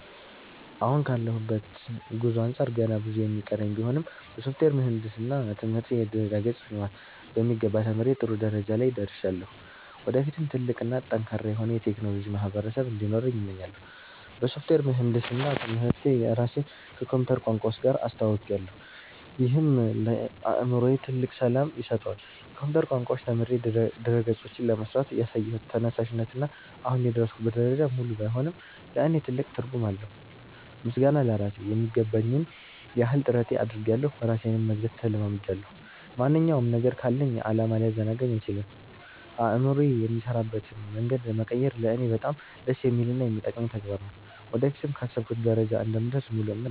አሁን ካለሁበት ጉዞ አንጻር ገና ብዙ የሚቀረኝ ቢሆንም፣ በሶፍትዌር ምህንድስና ትምህርቴ የድረ-ገጽ ልማትን በሚገባ ተምሬ ጥሩ ደረጃ ላይ ደርሻለሁ። ወደፊትም ትልቅ እና ጠንካራ የሆነ የቴክኖሎጂ ማህበረሰብ እንዲኖረኝ እመኛለሁ። በሶፍትዌር ምህንድስና ትምህርቴ ራሴን ከኮምፒውተር ቋንቋዎች ጋር አስተውውቄያለሁ፤ ይህም ለአእምሮዬ ትልቅ ሰላም ይሰጠዋል። የኮምፒውተር ቋንቋዎችን ተምሬ ድረ-ገጾችን ለመሥራት ያሳየሁት ተነሳሽነት እና አሁን የደረስኩበት ደረጃ፣ ሙሉ ባይሆንም ለእኔ ትልቅ ትርጉም አለው። ምስጋና ለራሴ ....የሚገባኝን ያህል ጥረት አድርጌያለሁ ራሴንም መግዛት ተለማምጃለሁ። ማንኛውም ነገር ካለኝ ዓላማ ሊያዘናጋኝ አይችልም። አእምሮዬ የሚሠራበትን መንገድ መቀየር ለእኔ በጣም ደስ የሚልና የሚጠቅመኝ ተግባር ነው። ወደፊትም ካሰብኩበት ደረጃ እንደምደርስ ሙሉ እምነት አለኝ።